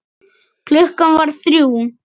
Klukkan varð þrjú.